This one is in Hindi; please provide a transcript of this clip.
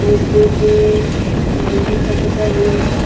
वो ब्रिज लोहे का बना हुआ हैं।